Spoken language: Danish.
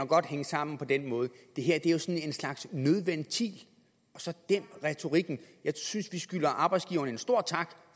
godt hænge sammen på den måde det her er jo sådan en slags nødventil så dæmp retorikken jeg synes at skylder arbejdsgiverne en stor tak